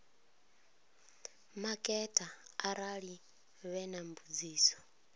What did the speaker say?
maketa arali vhe na mbudziso